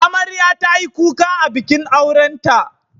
Amarya ta yi kuka a bikin aurenta.